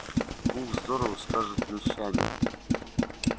ух здорово скажет мещанин